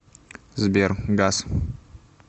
сбер гас